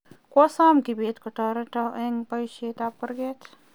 kwo som kibetkotoreto eng' bpoishet ab kurgat